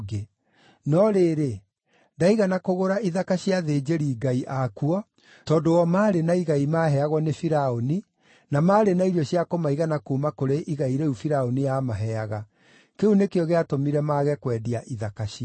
No rĩrĩ, ndaigana kũgũra ithaka cia athĩnjĩri-ngai akuo, tondũ o maarĩ na igai maaheagwo nĩ Firaũni, na maarĩ na irio cia kũmaigana kuuma kũrĩ igai rĩu Firaũni aamaheaga. Kĩu nĩkĩo gĩatũmire mage kwendia ithaka ciao.